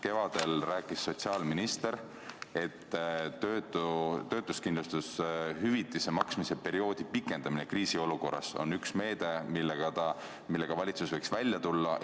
Kevadel rääkis sotsiaalminister, et töötuskindlustushüvitise maksmise perioodi pikendamine kriisiolukorras on üks meede, millega valitsus võiks välja tulla.